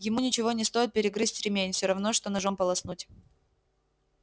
ему ничего не стоит перегрызть ремень всё равно что ножом полоснуть